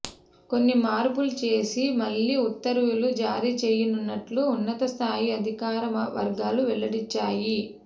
కొన్ని మార్పులు చేసి మళ్లీ ఉత్తర్వులు జారీ చేయనున్నట్లు ఉన్నతస్థాయి అధికార వర్గాలు వెల్లడించాయి